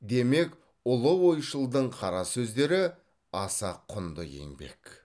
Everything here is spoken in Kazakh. демек ұлы ойшылдың қара сөздері аса құнды еңбек